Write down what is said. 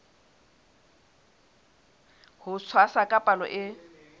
ho tshwasa ka palo e